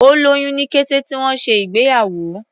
Ó lóyún ní kété tí wọ́n ṣe ìgbéyàwó.